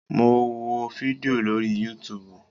Mo wo fídíò lórí yútuubù